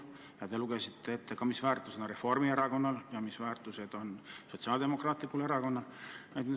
Ja te lugesite ette ka, mis väärtused on Reformierakonnal ja mis väärtused on Sotsiaaldemokraatlikul Erakonnal.